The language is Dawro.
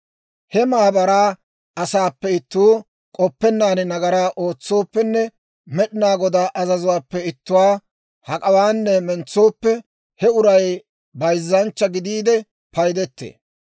« ‹He maabaraa asaappe ittuu k'oppennaan nagaraa ootsooppenne Med'inaa Godaa azazuwaappe ittuwaa hak'awaanne mentsooppe, he uray bayzzanchcha gidiide paydettee.